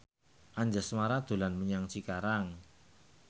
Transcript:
Anjasmara dolan menyang Cikarang